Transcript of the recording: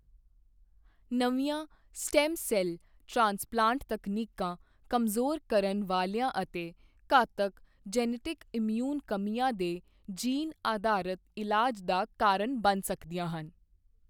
ਨਵੀਆਂ stem cell transplant ਤਕਨੀਕਾਂ ਕਮਜ਼ੋਰ ਕਰਨ ਵਾਲੀਆਂ ਅਤੇ ਘਾਤਕ ਜੈਨੇਟਿਕ ਇਮਿਊਨ ਕਮੀਆਂ ਦੇ ਜੀਨ ਅਧਾਰਤ ਇਲਾਜ ਦਾ ਕਾਰਨ ਬਣ ਸਕਦੀਆਂ ਹਨ।